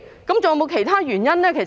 是否還有其他原因呢？